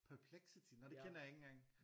Perplexity nå den kender jeg ikke engang